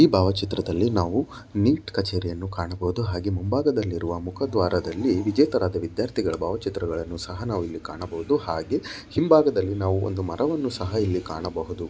ಈ ಭಾವ ಚಿತ್ರದಲ್ಲಿ ನಾವು ನೀಟ್ ಕಛೇರಿಯನ್ನು ಕಾಣಬಹುದು ಹಾಗೆ ಮುಂಭಾಗದಲ್ಲಿ ಇರುವ ಮುಖ ದ್ವಾರದಲ್ಲಿ ವಿಜೇತರಾದ ವಿದ್ಯಾರ್ಥಿಗಳ ಭಾವಚಿತ್ರಗಳನ್ನು ಸಹ ನಾವಿಲ್ಲಿ ಕಾಣಬಹುದು ಹಾಗೆ ಹಿಂಭಾಗದಲ್ಲಿ ನಾವು ಒಂದು ಮರವನ್ನು ಸಹ ಇಲ್ಲಿ ಕಾಣಬಹುದು.